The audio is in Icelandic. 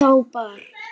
Þá bar